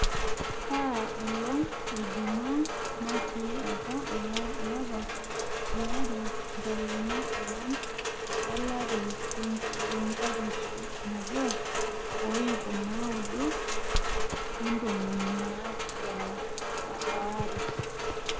kaa olong ejuma natii apa olapa liare ntarikini ong'uan olari lenkalisu nabo oip naaudo ontomoni naapishana oare